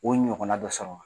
O ɲɔgɔnna dɔ sɔrɔ wa?